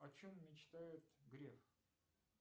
о чем мечтает греф